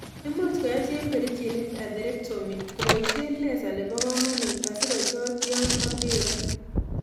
Imuche koyai chepkerichinik atherectomy kobaisien laser nebo komonut asikochot yon koterok